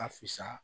Ka fisa